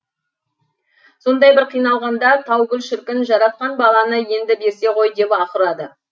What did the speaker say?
сондай бір қиналғанда таугүл шіркін жаратқан баланы енді берсе ғой деп аһ ұрады